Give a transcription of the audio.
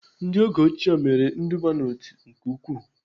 Ndị oge ochie mere nduba n'otu nke ukwuu